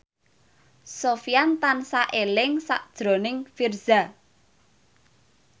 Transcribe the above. Sofyan tansah eling sakjroning Virzha